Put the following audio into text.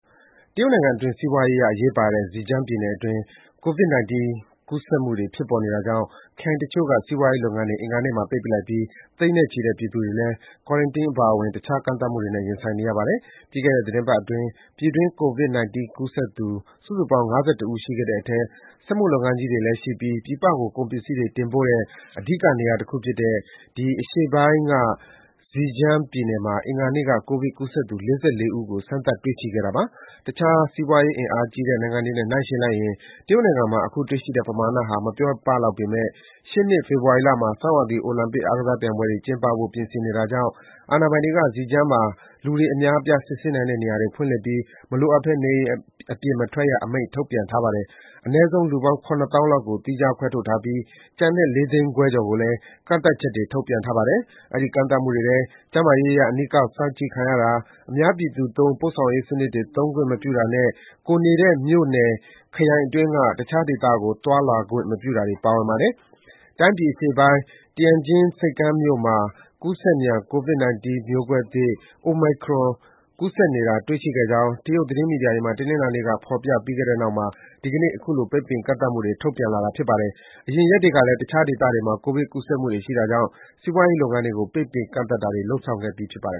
တရုတ်နိုင်ငံအတွင်း စီးပွားရေးအရ အရေးပါတဲ့ Zhejiang ပြည်နယ်အတွင်း ကိုဗစ်-၁၉ ကူးစက်မှုတွေ ဖြစ်ပေါ်နေတာကြောင့် ခရိုင်တချို့က စီးပွားရေးလုပ်ငန်းတွေ အင်္ဂါနေ့မှာ ပိတ်ပစ်လိုက်ပြီး သိန်းနဲ့ချီတဲ့ပြည်သူတွေလည်း Quarantine နဲ့ တခြား ကန့်သတ်မှုတွေနဲ့ ရင်ဆိုင်နေရပါတယ်။ ပြီးခဲ့တဲ့ သီတင်းပတ်အတွင်း ပြည်တွင်း ကိုဗစ်-၁၉ ကူးစက်သူ စုစုပေါင်း ၅၁ ဦးရှိခဲ့တဲ့အထဲ စက်မှုလုပ်ငန်းကြီးတွေတည်ရှိပြီး ပြည်ပကို ကုန်ပစ္စည်းတွေ တင်ပို့တဲ့ အဓိကနေရာတခုဖြစ်တဲ့ နိုင်ငံအရှေ့ပိုင်းက Zhejiang ပြည်နယ်မှာ အင်္ဂါနေ့မှာ ကိုဗစ်ကူးစက်သူ ၄၄ ဦးကို စမ်းသပ် တွေ့ရှိခဲ့တာပါ။ တခြား စီးပွားရေးအင်အားကြီးတဲ့ နိုင်ငံတွေနဲ့နှိုင်းယှဉ်လိုက်ရင် တရုတ်နိုင်ငံမှာ အခု တွေ့ရှိတဲ့ပမာဏဟာ မပြောပလောက်ပေမယ့် ရှေ့နှစ် ဖေဖော်ဝါရီလမှာ ဆောင်းရာသီအိုလံပစ် အားကစားပြိုင်ပွဲတွေ ကျင်းပဖို့ ပြင်ဆင်နေတာကြောင့် အာဏာပိုင်တွေက Zhejiang မှာ လူတွေ အများအပြား စစ်ဆေးနိုင်တဲ့နေရာတွေ ဖွင့်လှစ်ပြီး မလိုအပ်ဘဲ နေအိမ်အပြင်မထွက်ရအမိန့် ထုတ်ပြန်ထားပါတယ်။ အနည်းဆုံး လူပေါင်း ၇၀,၀၀၀ လောက်ကို သီးခြားခွဲထုတ်ထားပြီး ကျန်တဲ့ ၄ သိန်းခွဲကျော်ကိုလည်း ကန့်သတ်ချက်တွေ ထုတ်ပြန်ထားပါတယ်။ အဲဒီ ကန့်သတ်မှုတွေထဲ ကျန်းမာရေးအရ အနီးကပ်စောင့်ကြည့်တာ၊ အများပြည်သူသုံး ပို့ဆောင်ရေးစံနစ်တွေ သုံးခွင့်မပြုတာနဲ့ ကိုယ်နေတဲ့ မြို့နယ်၊ ခရိုင်အတွင်းက တခြားဒေသကို သွားလာခွင့်မပြုတာတွေ ပါဝင်ပါတယ်။ တိုင်းပြည်အရှေ့ပိုင်း Tianjin ဆိပ်ကမ်းမြို့မှာ ကူးစက်မြန် ကိုဗစ်-၁၉ မျိုးကွဲသစ် Omicron ကူးစက်နေသူ တွေ့ရှိခဲ့ကြောင်း တရုတ် သတင်းမီဒီယာတွေမှာ တနင်္လာနေ့က ဖော်ကြပြီးနောက် ဒီကနေ့မှာ အခုလို ပိတ်ပင် ကန့်သတ်မှုတွေ ထုတ်ပြန်လိုက်တာ ဖြစ်ပါတယ်။ အရင်ရက်တွေကလည်း တခြားဒေသတွေမှာ ကိုဗစ်ကူးစက်မှုတွေရှိတာကြောင့် စီးပွားရေးလုပ်ငန်းတွေကို ပိတ်ပင် ကန့်သတ်တာတွေ လုပ်ဆောင်ခဲ့ပြီး ဖြစ်ပါတယ်